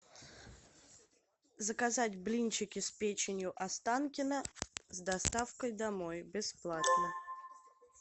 заказать блинчики с печенью останкино с доставкой домой бесплатно